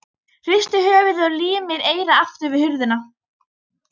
Hristir höfuðið og límir eyrað aftur við hurðina.